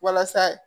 Walasa